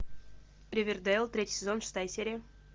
ривердейл третий сезон шестая серия